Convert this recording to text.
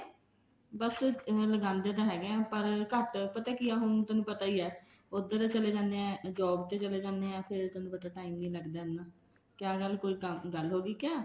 ਬੱਸ ਲਗਾਂਦੇ ਤਾਂ ਹੈਗਾ ਹਾਂ ਪਰ ਘੱਟ ਕਿਉਂਕਿ ਹੁਣ ਤੈਨੂੰ ਪਤਾ ਹੀ ਹੈ ਉੱਧਰ ਚਲੇ ਜਾਂਦੇ ਹਾਂ job ਤੇ ਚਲੇ ਜਾਂਦੇ ਹਾਂ ਮੈਂ ਫ਼ੇਰ ਥੋਨੂੰ ਪਤਾ time ਨੀ ਲੱਗਦਾ ਇੰਨਾ ਕਿਆ ਗੱਲ ਕੋਈ ਗੱਲ ਹੋਗੀ ਕਿਆ